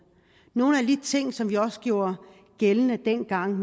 nogle af alle de ting som vi også gjorde gældende dengang